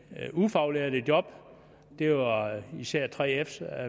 ufaglærte job det var især 3fs